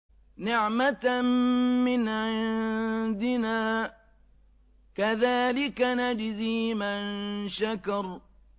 نِّعْمَةً مِّنْ عِندِنَا ۚ كَذَٰلِكَ نَجْزِي مَن شَكَرَ